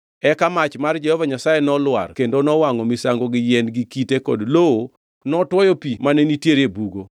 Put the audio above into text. Eka mach mar Jehova Nyasaye nolwar kendo nowangʼo misango gi yien gi kite kod lowo notwoyo pi mane nitie e bugo.